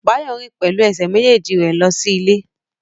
Báyọ̀ rìn pẹ̀lú ẹsẹ̀ méjèèjì rẹ̀ lọ sí ilé